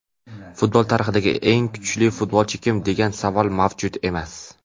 futbol tarixidagi eng kuchli futbolchi kim degan savol mavjud emas.